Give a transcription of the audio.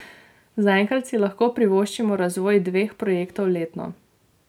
Zaenkrat si lahko privoščimo razvoj dveh projektov letno.